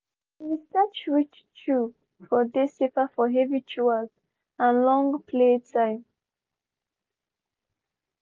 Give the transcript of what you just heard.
they been research which chew for dey safer for heavy chewers and long play time.